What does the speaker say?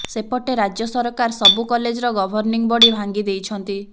ସେପଟେ ରାଜ୍ୟ ସରକାର ସବୁ କଲେଜର ଗଭର୍ଣ୍ଣିଂ ବଡି ଭାଙ୍ଗି ଦେଇଛନ୍ତି